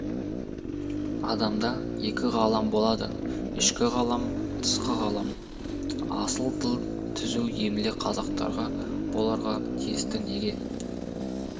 адамда екі ғалам болады ішкі ғалам тысқы ғалам асыл тіл түзу емле қазақтарға боларға тиісті неге